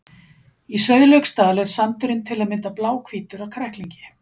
Í Sauðlauksdal er sandurinn til að mynda bláhvítur af kræklingi.